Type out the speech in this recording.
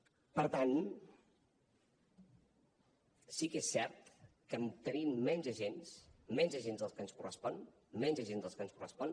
per tant sí que és cert que tenim menys agents del que ens correspon menys agents del que ens correspon